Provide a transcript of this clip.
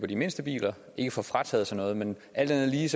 de mindste biler ikke får frataget noget men alt andet lige